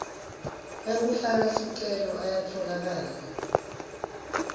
ekufaka sicelo ayatfolakala